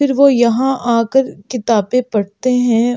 फिर वह यहाँ आकर किताबें पढ़ते हैं ।